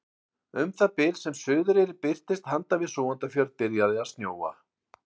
Um það bil sem Suðureyri birtist handan við Súgandafjörðinn byrjaði að snjóa.